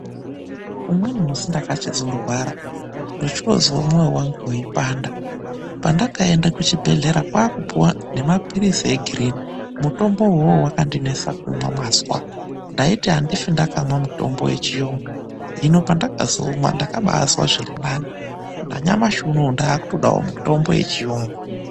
Umweni musi ndakachizorwara. Ndochoozwe mwoyo wangu weipanda. Pendakaenda kuchibhedhlera kwaakupuwa nemapirizi egirini. Mutombo uwowo wakandinesa kumwa mwazwa. Ndaiti andifi ndakamwa mutombo wechiyungu, hino pendakazomwa ndakabaazwa zvirinani. Nanyamashi unou ndaakutodawo mitombo yechiyungu